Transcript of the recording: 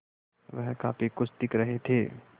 वह काफ़ी खुश दिख रहे थे